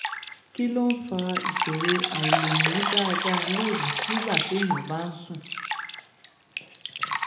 kí ló ń fa ìṣòro àìlèmí dáadáa lóru nígbà téèyàn bá ń sùn?